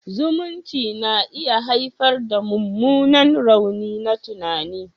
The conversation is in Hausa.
Zumunci na iya haifar da mummunan rauni na tunani.